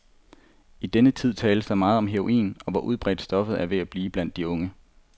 I denne tid tales der meget om heroin, og hvor udbredt stoffet er ved at blive blandt de unge.